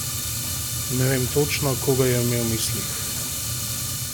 Ne vem točno, koga je imel v mislih?